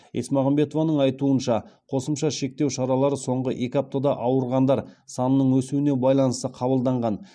есмағамбетованың айтуынша қосымша шектеу шаралары соңғы екі аптада ауырғандар санының өсуіне байланысты қабылданған